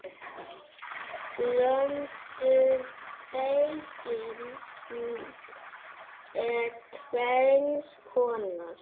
Blönduð beyging er tvenns konar